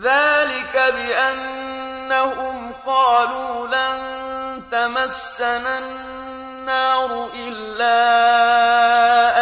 ذَٰلِكَ بِأَنَّهُمْ قَالُوا لَن تَمَسَّنَا النَّارُ إِلَّا